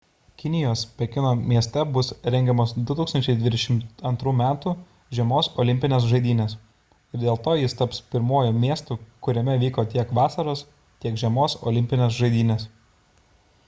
kinijos pekino mieste bus rengiamos 2022 m žiemos olimpinės žaidynės ir dėl to jis taps pirmuoju miestu kuriame vyko tiek vasaros tiek žiemos olimpinės žaidynės